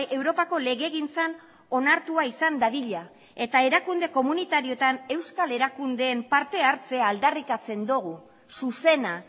europako legegintzan onartua izan dadila eta erakunde komunitarioetan euskal erakundeen parte hartzea aldarrikatzen dugu zuzena